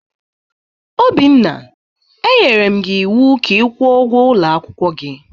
Obinna, e nyere gi ịwụ ka ị kwụọ ụgwọ ulo akwukwo gi!